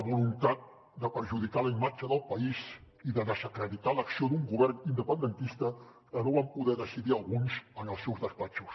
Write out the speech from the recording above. voluntat de perjudicar la imatge del país i de desacreditar l’acció d’un govern independentista que no van poder decidir alguns en els seus despatxos